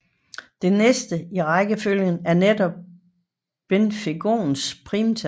Det næste i rækkefølgen er netop Belfegors primtal